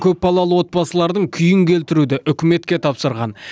көпбалалы отбасылардың күйін келтіруді үкіметке тапсырған